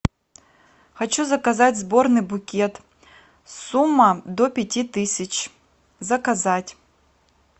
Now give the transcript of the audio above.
хочу заказать сборный букет сумма до пяти тысяч заказать